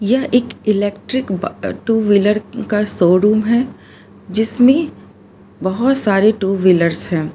यह एक इलेक्ट्रिक बा टू व्हीलर का शोरूम है जिसमें बहोत सारे टू व्हीलर्स है।